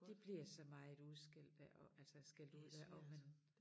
De bliver så meget udskældt ik og altså skældt ud ja og men